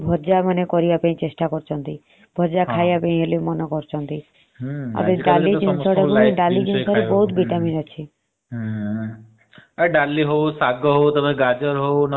ଡାଲି ହଊ ଶାଗ ହଊ ଗାଜର ହଉ ନହେଲେ ବିଟ ହଉ ଏଗୁଡା ସବୁ vitamin ଜିନିଷ।